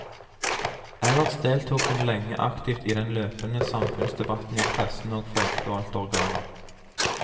Ellers deltok hun lenge aktivt i den løpende samfunnsdebatten i pressen og folkevalgte organer.